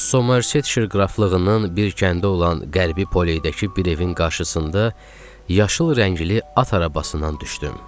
Somerçet şirqraflığının bir kəndə olan Qərbi Poledəki bir evin qarşısında yaşıl rəngli at arabasından düşdüm.